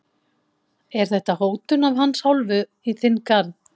Er þetta hótun af hans hálfu í þinn garð?